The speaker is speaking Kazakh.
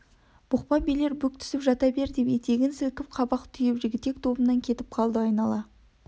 бұқпа билер бүк түсіп жата бер деп етегін сілкіп қабақ түйіп жігітек тобынан кетіп қалды айнала